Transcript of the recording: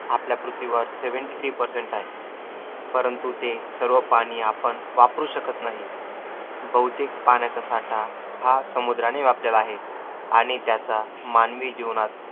आपल्या पृथ्वीवर seventy three percent आहे. परंतु ते सर्व पाणी आपण वापरू शकत नाही. बहुतेक पाण्याचा साठा हा समुद्राने व्यापलेला आहे. आणि त्याचा मानवी जीवनात